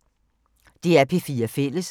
DR P4 Fælles